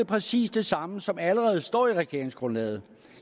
præcis det samme som allerede står i regeringsgrundlaget